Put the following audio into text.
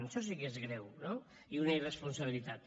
això sí que és greu no i una irresponsabilitat